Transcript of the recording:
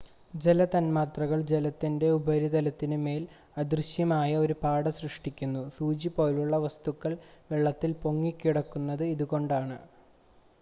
ജല തൻമാത്രകൾ ജലത്തിൻ്റെ ഉപരിതലത്തിനു മേൽ അദൃശ്യമായ ഒരു പാട സൃഷ്ടിക്കുന്നു സൂചി പോലുള്ള വസ്തുക്കൾ വെള്ളത്തിൽ പൊങ്ങിക്കിടക്കുന്നത് ഇതുകൊണ്ടാണ്